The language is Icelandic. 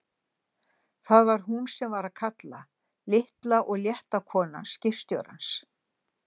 Það var hún sem var að kalla, litla og létta konan skipstjórans!